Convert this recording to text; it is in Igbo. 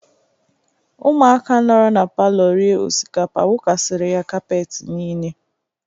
Ụmụaka nọrọ na palọ rie osikapa wụkasịrị ya kapeti niile.